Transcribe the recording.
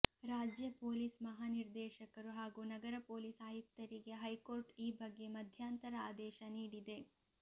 ರಾಜ್ಯ ಪೊಲೀಸ್ ಮಹಾನಿರ್ದೇಶಕರು ಹಾಗೂ ನಗರ ಪೊಲೀಸ್ ಆಯುಕ್ತರಿಗೆ ಹೈಕೋರ್ಟ್ ಈ ಬಗ್ಗೆ ಮಧ್ಯಂತರ ಆದೇಶ ನೀಡಿದೆ